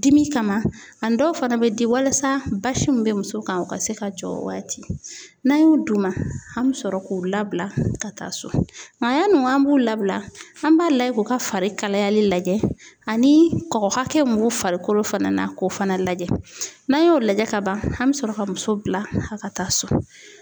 Dimi kama ani dɔw fana be di walasa basi min be muso kan o ka se ka jɔ o waati . N'an y'o d'u ma, an bi sɔrɔ k'u labila ka taa so ,nga yanni ko an b'u labila an b'a layɛ k'u ka fari kalayali lajɛ ani kɔgɔ hakɛ min b'u farikolo fana na k'o fana lajɛ n'a y'o lajɛ ka ban an be sɔrɔ ka muso bila ka taa so.